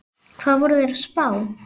Hvað voru þeir að spá?